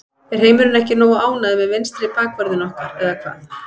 Er heimurinn ekki nógu ánægður með vinstri bakvörðinn okkar eða hvað?